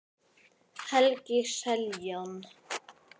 Helgi Seljan.